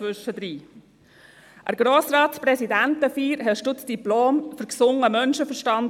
An der Grossratspräsidentenfeier erhielten Sie das «Diplom für gesunden Menschenverstand».